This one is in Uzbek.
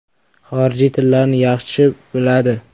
Xorijiy tillarni yaxshi biladi.